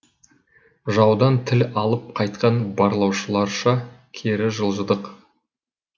жаудан тіл алып қайтқан барлаушыларша кері жылжыдық